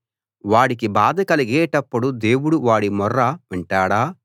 వాడికి బాధ కలిగేటప్పుడు దేవుడు వాడి మొర్ర వింటాడా